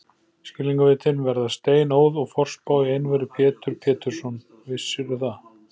Skilningarvitin verða steinóð og forspá í einveru, Pétur Pétursson, vissirðu það?